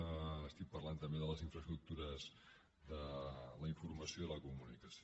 estic parlant també de les infraestructures de la informació i la comunicació